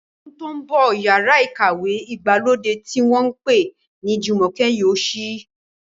Ní ọdún tó ń bọ̀, yàrá ìkàwé ìgbàlódé tí wọ́n pè ní Jumoke yóò ṣí.